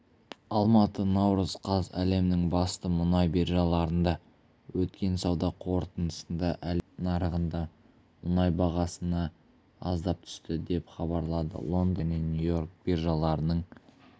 алматы наурыз қаз әлемнің басты мұнай биржаларында өткен сауда қорытындысында әлем нарығында мұнай бағасы аздап түсті деп хабарлады лондон және нью-йорк биржаларының